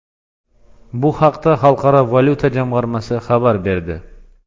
Bu haqda Xalqaro valyuta jamg‘armasi xabar berdi .